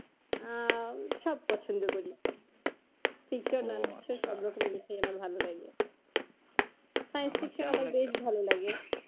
আহ সব পছন্দ করি আমার ভালো লাগে ভালো লাগে